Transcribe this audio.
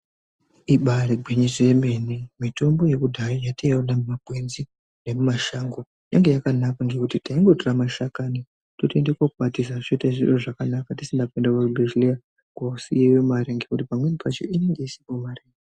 Ibari gwinyiso yemene mitombo yekudhaya yatinoona mumakwenzi nemumashango yange yakanaka ngekuti taingotora mashakani totoenda kokwatisa tisina kuenda kuzvibhedhleya kosiyeyo mare ngekuti pamweni pacho inenge ichidiwa mare.